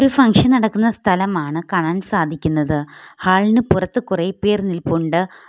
ഒരു ഫംഗ്ഷൻ നടക്കുന്ന സ്ഥലമാണ് കാണാൻ സാധിക്കുന്നത് ഹാളിന് പുറത്ത് കുറെപേർ നിൽപ്പുണ്ട്.